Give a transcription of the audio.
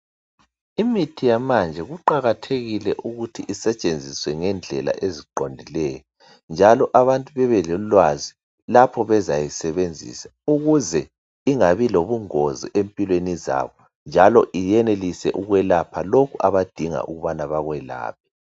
Imithi yamanje kuqakathekile ukuthi isetshenziswa ngendlela eziqondileyo njalo abantu bebelolwazi lapho bezayisebenzisa ukuze ingabi lobungozi empilweni zabo njalo iyenelise ukwelapha lokhu abadinga ukubana bakwelapha.